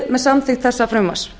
með samþykkt þessa frumvarps